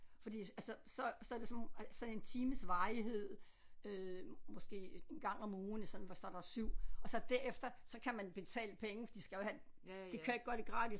Fordi altså så så er det sådan nogle ej så er det en times varighed øh måske en gang om ugen sådan hvor så er der 7 og så derefter så kan man betale penge for de skal jo have de kan jo ikke gøre det gratis